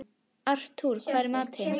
Artúr, hvað er í matinn?